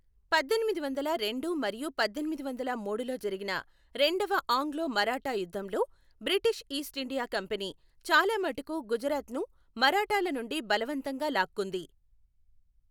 పద్దెనిమిది వందల రెండు మరియు పద్దెనిమిది వందల మూడులో జరిగిన రెండవ ఆంగ్లో మరాఠా యుద్ధంలో బ్రిటిష్ ఈస్ట్ ఇండియా కంపెనీ చాలా మటుకు గుజరాత్ను మరాఠాల నుండి బలవంతంగా లాక్కుంది.